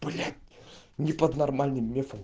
блять не под нормальным мефом